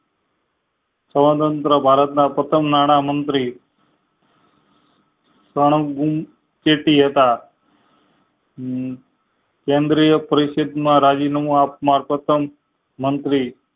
સ્વતંત્ર ભારત ના પ્રથમ નાણાં મંત્રી પ્રણવ હું શેટી હતા આહ કેન્દ્રીય પરિસદ માં રાજીનામુ આપનાર પ્રથમ મંત્રી